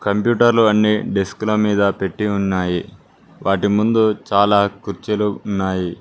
కంప్యూటర్లు అన్ని డెస్క్ల మీద పెట్టి ఉన్నాయి వాటి ముందు చాలా కుర్చీలు ఉన్నాయి.